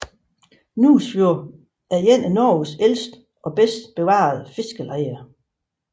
Nusfjord er et af Norges ældste og bedst bevarede fiskerlejer